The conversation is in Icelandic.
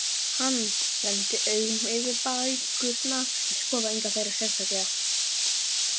Hann renndi augunum yfir bækurnar en skoðaði enga þeirra sérstaklega.